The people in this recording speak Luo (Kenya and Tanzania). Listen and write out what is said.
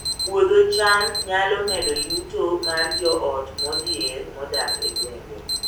Puodho cham nyalo medo yuto mar joot modhier modak e gwenge